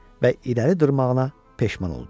Və irəli durmağına peşman oldu.